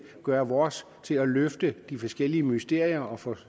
gøre vores til at løse de forskellige mysterier og få